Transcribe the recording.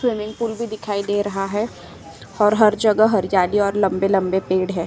Swimming pool भी दिखाई दे रहा है और हर जगह हरियाली और लंबे-लंबे पेड़ हैं।